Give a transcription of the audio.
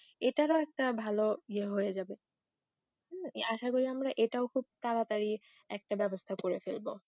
এটারও একটা ভালো ইয়ে হয়ে যাবে আশা করি আমরা এটাও খুব তাড়াতাড়ি একটা ব্যবস্থা করে ফেলবো